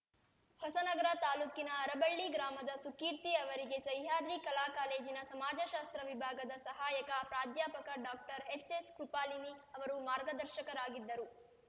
ಹೊಸನಗರ ತಾಲೂಕಿನ ಅರಬಳ್ಳಿ ಗ್ರಾಮದ ಸುಕೀರ್ತಿ ಅವರಿಗೆ ಸಹ್ಯಾದ್ರಿ ಕಲಾ ಕಾಲೇಜಿನ ಸಮಾಜಶಾಸ್ತ್ರ ವಿಭಾಗದ ಸಹಾಯಕ ಪ್ರಾಧ್ಯಾಪಕ ಡಾ ಎಚ್‌ಎಸ್‌ ಕೃಪಾಲಿನಿ ಅವರು ಮಾರ್ಗದರ್ಶಕರಾಗಿದ್ದರು